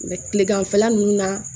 tileganfɛla ninnu na